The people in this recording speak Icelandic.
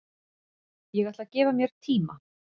Ég ætla að gefa mér tíma